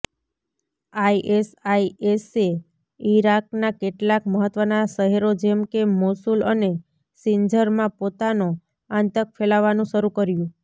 આઇએસઆઇએસે ઇરાકના કેટલાક મહત્વના શહેરો જેમ કે મોસુલ અને સિંજરમાં પોતાનો આંતક ફેલાવાનું શરૂ કર્યું